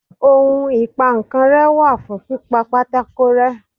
ohún ipá nkán re wa fún pipá pàtàkó rẹ